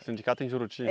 Sindicato em Juruti?